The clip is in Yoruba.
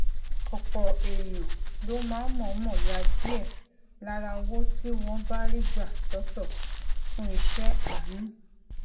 òpò èèyàn ló máa ń mòómò ya díè lára owó tí wón bá rí gbà sótò fún iṣé àánú